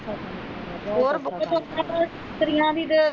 ਹੋਰ ਬੁੱਕਰ ਮਿਸਤਰੀਆਂ ਦੀ ਤੇ